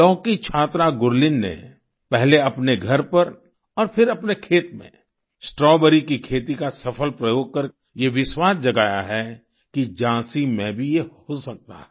लाव की छात्रा गुरलीन ने पहले अपने घर पर और फिर अपने खेत में स्ट्रॉबेरी की खेती का सफल प्रयोग कर ये विश्वास जगाया है कि झाँसी में भी ये हो सकता है